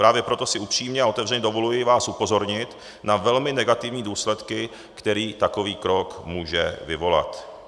Právě proto si upřímně a otevřeně dovoluji vás upozornit na velmi negativní důsledky, který takový krok může vyvolat.